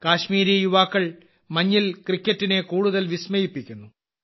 കശ്മീരി യുവാക്കൾ മഞ്ഞിൽ ക്രിക്കറ്റിനെ കൂടുതൽ വിസ്മയിപ്പിക്കുന്നു